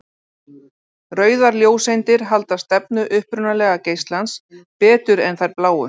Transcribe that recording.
Rauðar ljóseindir halda stefnu upprunalega geislans betur en þær bláu.